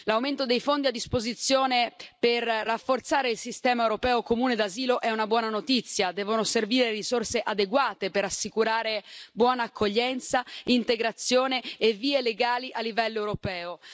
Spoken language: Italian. L'aumento dei fondi a disposizione per rafforzare il sistema europeo comune di asilo è una buona notizia servono risorse adeguate per assicurare buona accoglienza, integrazione e vie legali a livello europeo.